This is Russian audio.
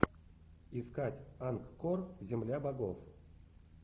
искать ангкор земля богов